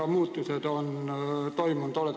Mis muutused on toimunud?